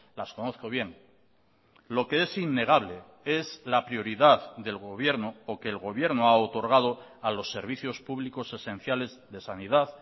las conozco bien lo que es innegable es la prioridad del gobierno o que el gobierno ha otorgado a los servicios públicos esenciales de sanidad